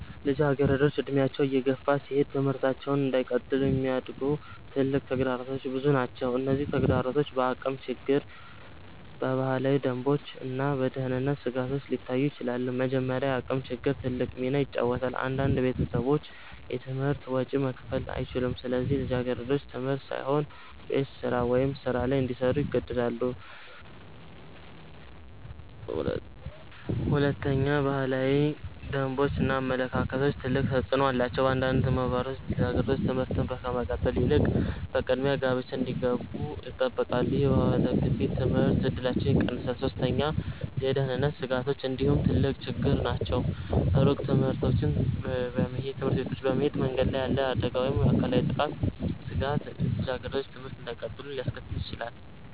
ልጃገረዶች እድሜያቸው እየገፋ ሲሄድ ትምህርታቸውን እንዳይቀጥሉ የሚያግዱ ትልቅ ተግዳሮቶች ብዙ ናቸው። እነዚህ ተግዳሮቶች በአቅም ችግር፣ በባህላዊ ደንቦች እና በደህንነት ስጋቶች ሊታዩ ይችላሉ። መጀመሪያ፣ የአቅም ችግር ትልቅ ሚና ይጫወታል። አንዳንድ ቤተሰቦች የትምህርት ወጪ መክፈል አይችሉም፣ ስለዚህ ልጃገረዶች ትምህርት ሳይሆን ቤት ስራ ወይም ሥራ ላይ እንዲሰሩ ይገደዳሉ። ሁለተኛ፣ ባህላዊ ደንቦች እና አመለካከቶች ትልቅ ተፅዕኖ አላቸው። በአንዳንድ ማህበረሰቦች ልጃገረዶች ትምህርት ከመቀጠል ይልቅ በቅድሚያ ጋብቻ እንዲገቡ ይጠበቃሉ። ይህ የባህል ግፊት የትምህርት እድላቸውን ይቀንሳል። ሶስተኛ፣ የደህንነት ስጋቶች እንዲሁ ትልቅ ችግር ናቸው። ሩቅ ትምህርት ቤቶች መሄድ፣ መንገድ ላይ ያለ አደጋ ወይም የአካላዊ ጥቃት ስጋት ልጃገረዶች ትምህርት እንዳይቀጥሉ ሊያስከትል ይችላል።